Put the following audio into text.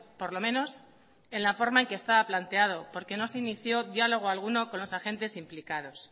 por lo menos en la forma en que estaba planteado porque no se inició diálogo alguno con los agentes implicados